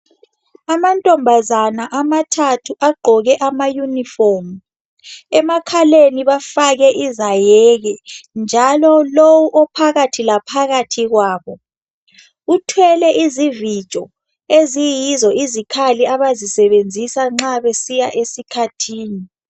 Amantombazane amathathu agqoke amayunifomu. Emakhaleni bafake izayeke njalo lowu ophakathi laphakathi kwabo uthwele izivijo eziyizo izikhali abazisebenzisa nxa besiya esikhathini.